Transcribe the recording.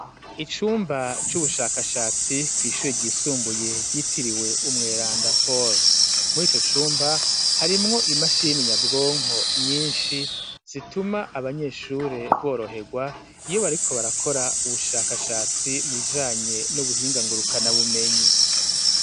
Icumba c'ubushakashatsi kw'ishure ryisumbuye ryitiriwe umwerandapolo mw ico cumba harimwo imashini nyabwonko nyinshi zituma abanyeshure boroherwa iyo bariko barakora ubushakashatsi mujanye n'ubuhingangurukana bumenyi.